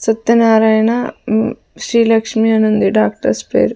సత్తేనారాయణ మ్మ్ శ్రీలక్ష్మి అనుంది డాక్టర్స్ పేరు.